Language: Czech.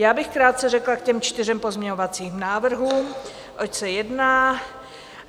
Já bych krátce řekla k těm čtyřem pozměňovacím návrhům, oč se jedná.